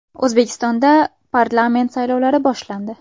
O‘zbekistonda parlament saylovlari boshlandi.